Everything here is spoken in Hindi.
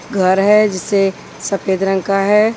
घर है जिसे सफेद रंग का है।